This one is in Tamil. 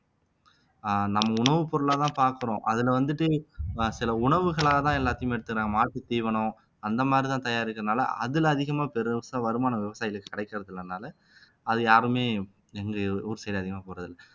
அஹ் நம்ம உணவுப் பொருளாதான் பாக்குறோம் அதுல வந்துட்டு அஹ் சில உணவுகளாதான் எல்லாத்தையுமே எடுத்துக்கிறாங்கா மாட்டு தீவனம் அந்த மாதிரிதான் தயாரிக்கிறதுனால அதுல அதிகமா பெருசா வருமானம் விவசாயிகளுக்கு கிடைக்கிறது இல்லனால அது யாருமே எங்க ஊர் side அதிகமா போடுறது இல்லை